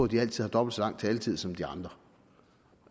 de altid har dobbelt så lang taletid som de andre